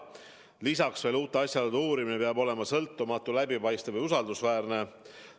Lisaks veel, uute asjaolude uurimine peab olema sõltumatu, läbipaistev ja usaldusväärne.